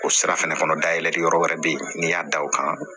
O sira fɛnɛ dayɛlɛli yɔrɔ wɛrɛ be yen n'i y'a da o kan